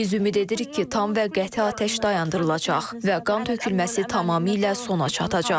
Biz ümid edirik ki, tam və qəti atəş dayandırılacaq və qan tökülməsi tamamilə sona çatacaq.